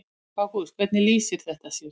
Ágúst: Hvernig lýsir þetta sér?